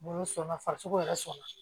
Bolo sɔnna farisogo yɛrɛ sɔnna